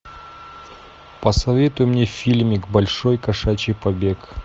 посоветуй мне фильмик большой кошачий побег